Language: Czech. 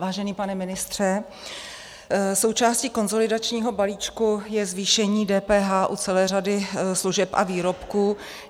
Vážený pane ministře, součástí konsolidačního balíčku je zvýšení DPH u celé řady služeb a výrobků.